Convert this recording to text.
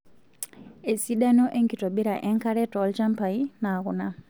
Esidano enkitobira enkare tolchambai naa kuna.